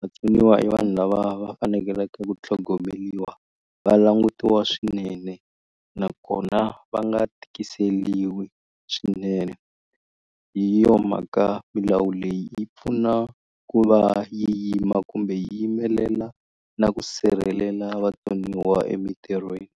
vatsoniwa i vanhu lava va faneleke ku tlhogomeliwa va langutiwa swinene nakona va nga tikiseliwi swinene hi yo mhaka milawu leyi yi pfuna ku va yi yima kumbe yi yimelela na ku sirhelela vatsoniwa emintirhweni.